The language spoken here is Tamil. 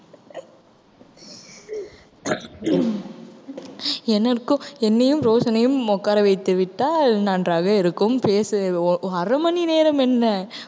எனக்கும் என்னையும் ரோசனையும் உட்கார வைத்து விட்டால் நன்றாக இருக்கும் பேச ஒ~ அரை மணி நேரம் என்ன